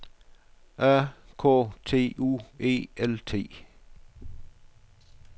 A K T U E L T